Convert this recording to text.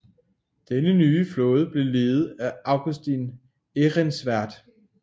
Denne nye flåde blev ledet af Augustin Ehrensvärd